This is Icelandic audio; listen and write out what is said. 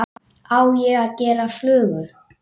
Á ég að gera flugu?